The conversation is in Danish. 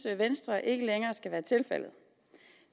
at venstre ikke længere synes skal være tilfældet